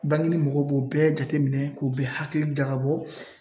Bangini mɔgɔw b'o bɛɛ jateminɛ k'o bɛɛ hakili jagabɔ